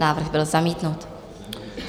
Návrh byl zamítnut.